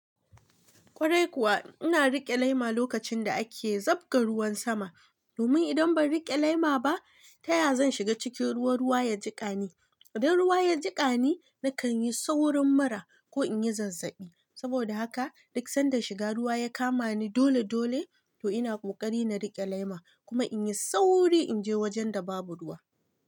Kwarai kuwa ina riƙe laima lokacin da ake zabga ruwan sama, domin idan ban riƙe laima ba, taya zan shiga cikin ruwa, ruwa ya jiƙani. Idan ruwa ya jiƙani, na kan yi saurin mura ko in yi zazzaɓi. Saboda haka duk sanda shiga ruwa ya kama ni dole dole to ina ƙoƙari na riƙe laima kuma in yi sauri in je wajen da babu ruwa.